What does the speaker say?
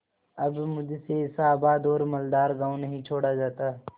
अब मुझसे ऐसा आबाद और मालदार गॉँव नहीं छोड़ा जाता